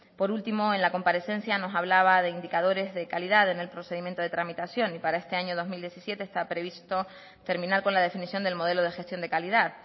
por último en la comparecencia nos hablaba de indicadores de calidad en el procedimiento de tramitación y para este año dos mil diecisiete está previsto terminar con la definición del modelo de gestión de calidad